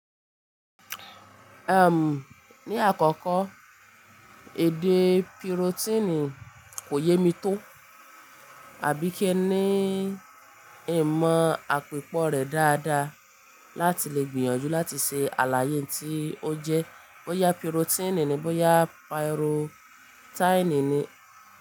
Ehm, ní àkọ́kọ́ èdè pírótíìnì kò yé mi tó, àbí kí ẹ ní ìmọ̀ àpìpọ̀ rẹ̀ dáadáa láti lè gbìyànjú láti ṣe àlàyé tí ó jẹ́ bóyá pírótíìnì ni bọ́yá pìròtáìnì ni.